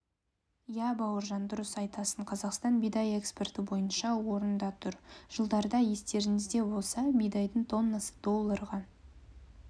иә бауыржан дұрыс айтасың қазақстан бидай экспорты бойынша орында тұр жылдарда естеріңізде болса бидайдың тоннасы долларға